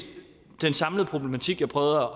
den samlede problematik jeg prøvede